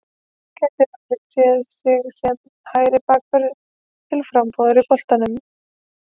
Gæti Rúrik séð sig sem hægri bakvörð til frambúðar í boltanum?